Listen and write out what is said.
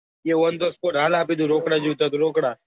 A on the spot હાલ આપી દઉં હાલ આપી દઉં રોકડા જોઉતા હોય તો રોકડા